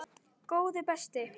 Góði besti.